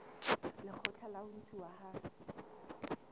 lekgotla la ho ntshuwa ha